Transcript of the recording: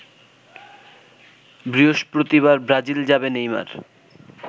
বৃহস্পতিবার ব্রাজিল যাবে নেইমার